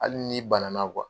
Hali n'i bana